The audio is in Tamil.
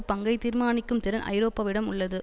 பங்கைத் தீர்மானிக்கும் திறன் ஐரோப்பாவிடம் உள்ளது